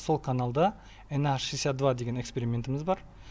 сол каналда на шестьдесять два деген экспериментіміз бар